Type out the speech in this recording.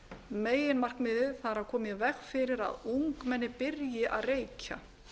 meginmarkmiðið það er að koma í veg fyrir að ungmenni byrji að reykja